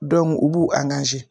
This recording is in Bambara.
u b'u